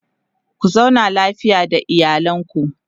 ku zauna lafiya da iyalanku